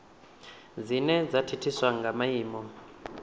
dzine dza thithiswa nga maimo